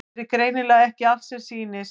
Hér er því greinilega ekki allt sem sýnist.